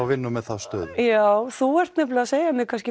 vinna með þá stöðu já þú ert nefnilega að segja mér